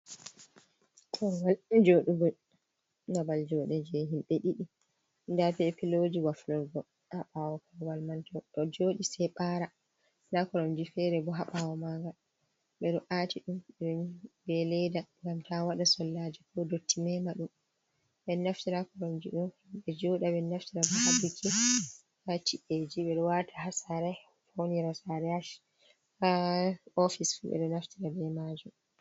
Korowal joɗugo, babal joɲde je himɓe ɗiɗi. Nda be piloji waflurgo haa ɓawo korowal man, to goɗɗo jooɗi se ɓaara. Nda koromje feere bo haa ɓawo maɲgal ɓe ɗo aati ɗum be leeda ngam ta waɗa sollaje ko dotti meema ɗum. Ɓe ɗo naftira koromje ɗo ɓe jooɗa, ɓe ɗo naftira bo haa biki, haa chi’eji. Ɓe ɗo waata haa saare, faunira saare. Haa ofis fuu ɓe ɗo naftira be maajum.